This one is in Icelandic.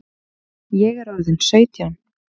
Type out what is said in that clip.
Ég er orðin sautján!